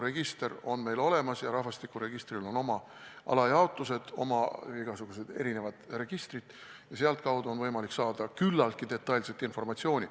Meil on olemas rahvastikuregister ja sellel on oma alajaotused, igasugused erinevad registrid, ja sealtkaudu on võimalik saada küllaltki detailset informatsiooni.